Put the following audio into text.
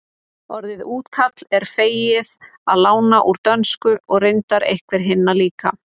orðið túkall er fengið að láni úr dönsku og reyndar einhver hinna líka